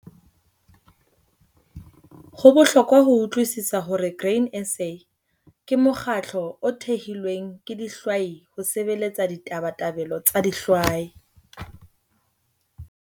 Ho bohlokwa ho utlwisisa hore Grain SA ke mokgatlo o thehilweng ke dihwai ho sebeletsa ditabatabelo tsa dihwai.